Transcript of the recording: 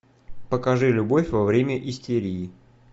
покажи любовь во время истерии